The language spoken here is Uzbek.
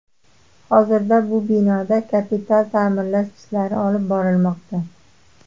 Hozirda bu binoda kapital ta’mirlash ishlari olib borilmoqda.